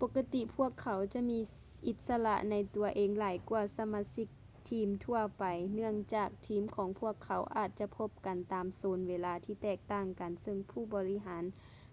ປົກກະຕິພວກເຂົາຈະມີອິດສະຫຼະໃນຕົວເອງຫຼາຍກ່ວາສະມາຊິກທີມທົ່ວໄປເນື່ອງຈາກທີມຂອງພວກເຂົາອາດຈະພົບກັນຕາມໂຊນເວລາທີ່ແຕກຕ່າງກັນເຊິ່ງຜູ້ບໍລິຫານ